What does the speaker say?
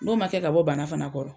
N'o ma kɛ ka bɔ bana fana kɔrɔ